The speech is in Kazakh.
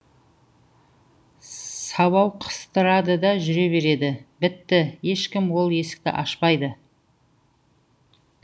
сабау қыстырады да жүре береді бітті ешкім ол есікті ашпайды